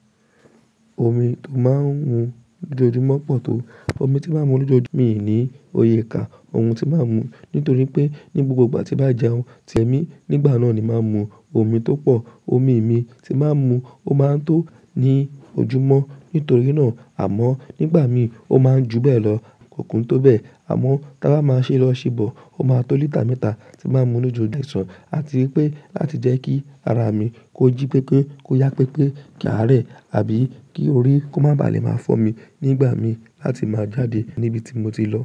Omi tó máa ń mu lójoojúmọ́ pọ̀ tó omi tí máa ń mu lójoojúmọ́. Mi ò ní òye ká ohun tí máa ń mu nítorí pé ní gbogbo ìgbà tí bá jẹun, ti ẹ̀mí nígbà náà ni máa ń mu omi tó pọ̀. Omi mi tí máa ń mu ó máa ń tó ní ojúmọ́ nítorí náà àmọ́ nígbà mi ó máa ń ju bẹ́ẹ̀ lọ, kòkún tó bẹ́ẹ̀ àmọ́ ki a máa ṣi lọ ṣibọ, ó máa tó lítà mẹ́ta tí n máa mu lójoojú ọ̀sán. A ti rí pé láti jẹ́ kí ara mi kó jí pípé, kó yá pípé, kí a rẹ̀ àbí kí orí kó má ba à lè máa fọ́ mi nígbà mi láti máa jáde níbi tí mo ti lọ.